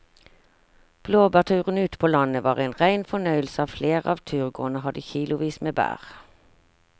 Blåbærturen ute på landet var en rein fornøyelse og flere av turgåerene hadde kilosvis med bær.